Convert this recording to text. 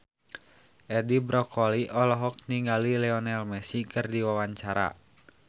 Edi Brokoli olohok ningali Lionel Messi keur diwawancara